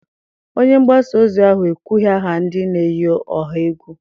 Onye mgbasa ozi ahụ ekwughị aha ndị na-eyi ọha egwu.